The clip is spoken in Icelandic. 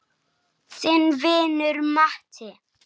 Þinn vinur Matti.